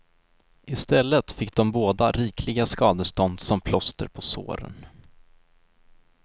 I stället fick de båda rikliga skadestånd som plåster på såren.